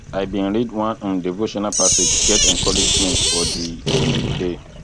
i bin read one um devotional passage get encouragement for di um day